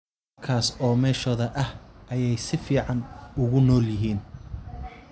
Halkaas oo meeshoda ah ayay si fiican ugu nool yihiin.